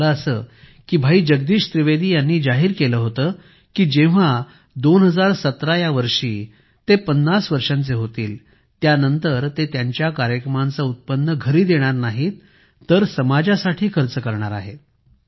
तर झालं असं कीभाई जगदीश त्रिवेदी यांनी सांगितले की जेव्हा 2017 या वर्षी ते 50 वर्षांचे होतील त्यानंतर ते त्यांच्या कार्यक्रमांचे उत्पन्न घरी देणार नाहीत तर समाजासाठी खर्च करणार आहेत